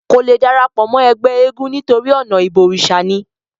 kò le darapọ̀ mọ́ ẹgbẹ́ eégún nítorí ọ̀nà ìbọ̀rìsà ni